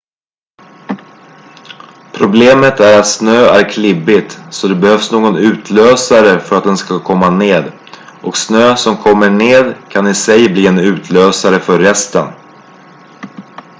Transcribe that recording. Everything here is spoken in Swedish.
problemet är att snö är klibbigt så det behövs någon utlösare för att den ska komma ned och snö som kommer ned kan i sig bli en utlösare för resten